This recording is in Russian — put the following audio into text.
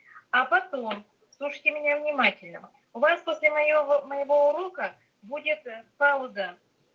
а потом слушайте меня внимательно у вас после моего моего урока будет пауза